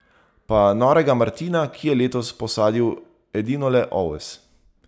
Pa Norega Martina, ki je letos posadil edinole oves.